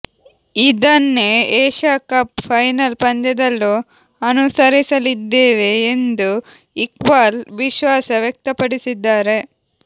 ಇದನ್ನೇ Asia cup final ಪಂದ್ಯದಲ್ಲೂ ಅನುಸರಿಸಲಿದ್ದೇವೆ ಎಂದು ಇಕ್ಬಾಲ್ ವಿಶ್ವಾಸ ವ್ಯಕ್ತಪಡಿಸಿದ್ದಾರೆ